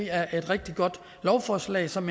er et rigtig godt lovforslag som